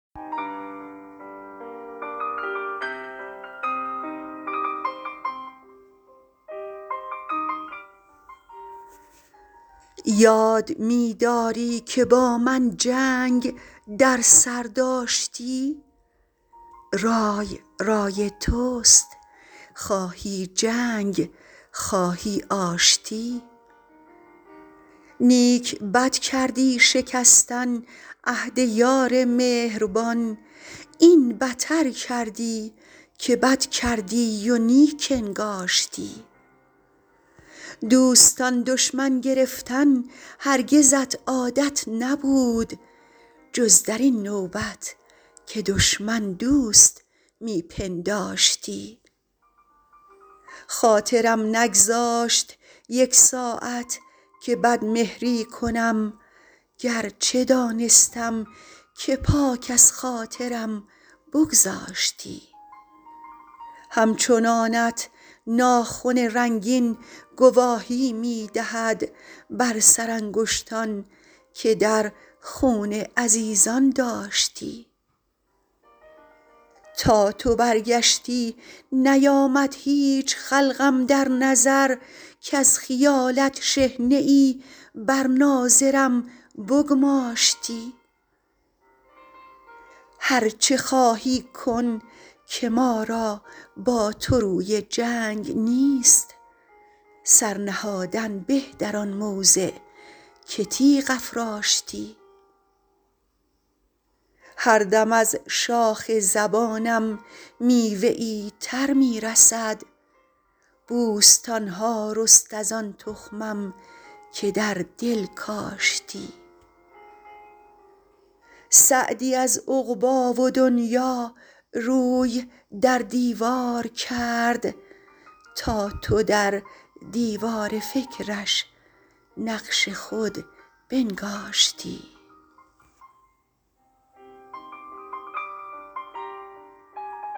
یاد می داری که با من جنگ در سر داشتی رای رای توست خواهی جنگ خواهی آشتی نیک بد کردی شکستن عهد یار مهربان این بتر کردی که بد کردی و نیک انگاشتی دوستان دشمن گرفتن هرگزت عادت نبود جز در این نوبت که دشمن دوست می پنداشتی خاطرم نگذاشت یک ساعت که بدمهری کنم گرچه دانستم که پاک از خاطرم بگذاشتی همچنانت ناخن رنگین گواهی می دهد بر سرانگشتان که در خون عزیزان داشتی تا تو برگشتی نیامد هیچ خلق اندر نظر کز خیالت شحنه ای بر ناظرم بگماشتی هر چه خواهی کن که ما را با تو روی جنگ نیست سر نهادن به در آن موضع که تیغ افراشتی هر دم از شاخ زبانم میوه ای تر می رسد بوستان ها رست از آن تخمم که در دل کاشتی سعدی از عقبی و دنیا روی در دیوار کرد تا تو در دیوار فکرش نقش خود بنگاشتی